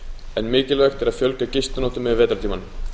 en mikilvægt er að fjölga gistinóttum yfir vetrartímann